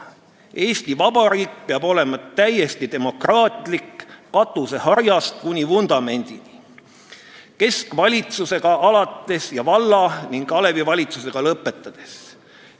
Eesti vabariik peab olema täiesti demokraatlik katuseharjast kuni vundamendini: keskvalitsusega alates ja valla- ning alevivalitsustega lõpetades.